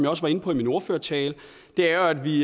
også var inde på i min ordførertale er at vi